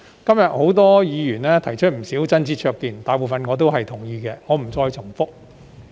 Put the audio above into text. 今天，多位議員提出不少真知灼見，大部分我都同意，我不再重複了。